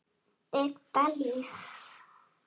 Birta Líf.